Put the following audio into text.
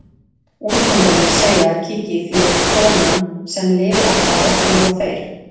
Úlfhundarnir segja að Kiki þýði konan sem lifir alltaf og ekki ljúga þeir.